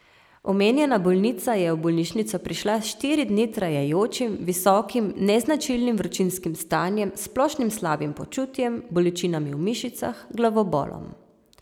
Omenjena bolnica je v bolnišnico prišla s štiri dni trajajočim visokim, neznačilnim vročinskim stanjem s splošnim slabim počutjem, bolečinami v mišicah, glavobolom.